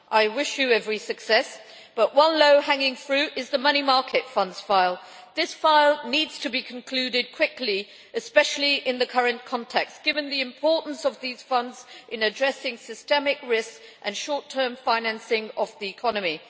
I wish Prime Minister Fico every success, but one low hanging fruit is the money market funds file. This file needs to be concluded quickly, especially in the current context, given the importance of these funds in addressing systemic risks and short term financing of the economy.